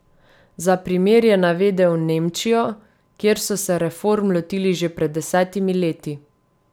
Za primer je navedel Nemčijo, kjer so se reform lotili že pred desetimi leti.